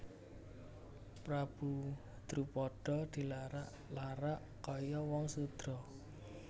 Prabu Drupada dilarak larak kaya wong sudra